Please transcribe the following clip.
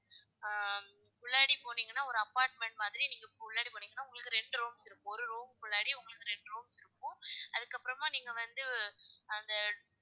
ஆஹ் முன்னாடி போனிங்கனா ஒரு apartment மாதிரி நீங்க முன்னாடி போனிங்கனா உங்களுக்கு ரெண்டு room ஒரு room குல்லாடி உங்களுக்கு ரெண்டு room இருக்கும். அதுக்கு அப்பறமா நீங்க வந்து அந்த,